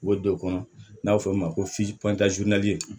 U bɛ don o kɔnɔ n'a bɛ fɔ o ma ko